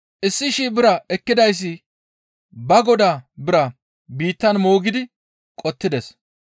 Issi shii bira ekkidayssi ba godaa bira biittan moogidi qottides.